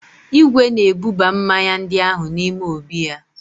Igwe na-ebuba mmanya ndị ahụ n'ime obí ya.